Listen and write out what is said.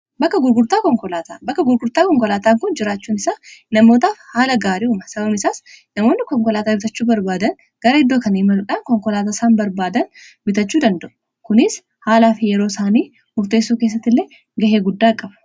Bakka gurgurtaa konkolaataan kun jiraachuun isaa namootaa haala gaarii'uma sabam isaas namoonni konkolaataa bitachuu barbaadan gara iddoo kani maluudhaan konkolaataa isaan barbaadan bitachuu danda'u kunis haalaa fi yeroo isaanii murteessoo keessatti illee gahee guddaa qabu.